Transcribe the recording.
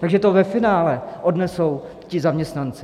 Takže to ve finále odnesou ti zaměstnanci.